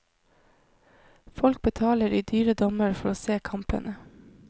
Folk betaler i dyre dommer for å se kampene.